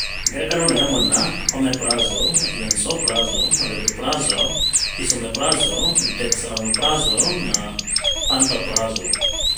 Ngerekano nĩ hamwe na omeprazole, lansoprazole, rabeprazole, esomeprazole, dexlansoprazole na pantoprazole.